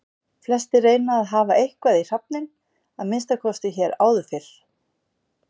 Flestir reyna að hafa eitthvað í hrafninn, að minnsta kosti hér áður fyrr.